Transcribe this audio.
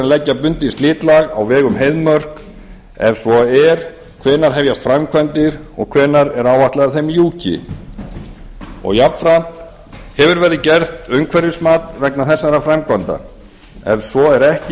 leggja bundið slitlag á veg um heiðmörk ef svo er hvenær hefjast framkvæmdir og hvenær er áætlað að þeim ljúki annað hefur verið gert umhverfismat vegna þessara framkvæmda ef svo er ekki